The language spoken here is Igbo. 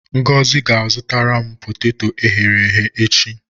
Ngozi ga-azụtara m poteto e ghere-eghe echi.